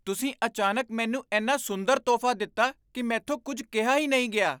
ਤੁਸੀਂ ਅਚਾਨਕ ਮੈਨੂੰ ਇੰਨਾ ਸੁੰਦਰ ਤੋਹਫ਼ਾ ਦਿੱਤਾ ਕਿ ਮੈਥੋਂ ਕੁੱਝ ਕਿਹਾ ਹੀ ਨਹੀਂ ਗਿਆ।